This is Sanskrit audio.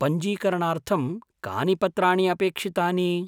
पञ्जीकरणार्थं कानि पत्राणि अपेक्षितानि?